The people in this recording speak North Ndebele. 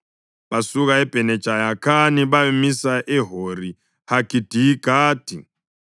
Basuka eBhene Jayakhani bayamisa eHori-Hagidigadi.